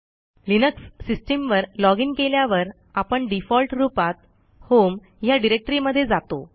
Linux system वर login केल्यावर आपणdefault रूपात होम ह्या डिरेक्टरी मध्ये जातो